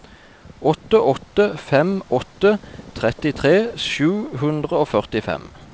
åtte åtte fem åtte trettitre sju hundre og førtifem